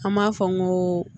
An b'a fɔ n ko